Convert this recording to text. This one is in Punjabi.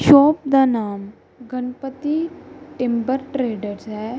ਸ਼ੌਪ ਦਾ ਨਾਮ ਗਣਪਤੀ ਟਿੰਬਰ ਟ੍ਰੇਡਰਸ ਹੈ।